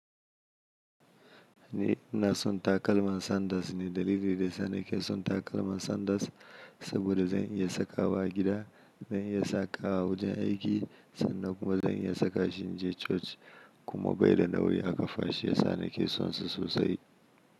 Ni ina son takalman Sanders ne. Dalili da ya sa ni ke son takalman Sanders saboda zan iya sakawa a gida, zan iya sakawa wajen aiki sannan kuma zan iya saka shi in je coci kuma bai da nauyi a ƙafa shi ya sa ni ke son su sosai.